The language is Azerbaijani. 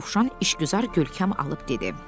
Dovşan işgüzar görkəm alıb dedi.